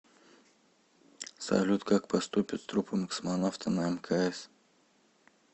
салют как поступят с трупом космонавта на мкс